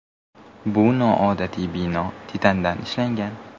Bu noodatiy bino titandan ishlangan.